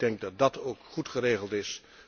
Ik denk dat dat ook goed geregeld is.